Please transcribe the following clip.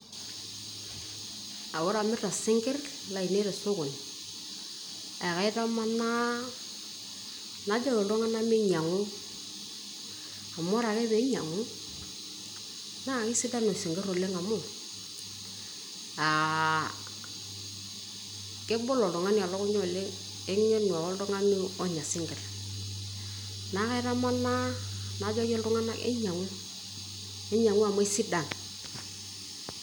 aa ore amirta isinkir lainei tesokoni e kaitamanaa najoki iltung'anak meinyiang'u amu ore ake pee einyiang'u, naa keisidan isinkir oleng' amuu aa, kebol oltunga'ni elukunya oleng' eng'enu ake oltung'ani onya isinkir, neaku kaitamanaa najoki iltung'anak enyang'u, enyang'u amu eisidan.